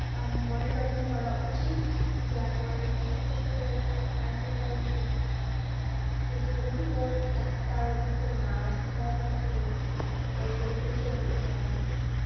উম monitoring করা উচিত যেন এরকম ছোট ছোট hospital অভিজ্ঞ doctor অভিজ্ঞ nurse দ্বারা যেন এই হাসপাতাল গুলো পরিচালনা করা হয়